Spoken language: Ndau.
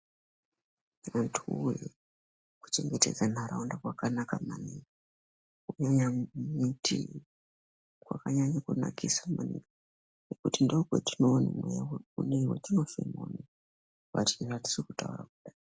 Antu woye kuchengetedza ntaraunda kwakanaka maningi kunyanya muti kwakantanye kunakisa maningi ngekuti ndokwetinoone mweya uneyi kufema uneyi wati watiri kutaura kudai.